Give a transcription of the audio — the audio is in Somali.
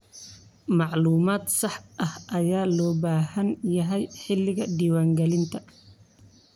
Macluumaad sax ah ayaa loo baahan yahay xilliga diiwaangelinta.